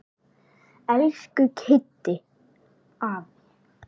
Elsku Kiddi afi.